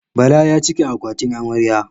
Bala ya cika akwatin amarya.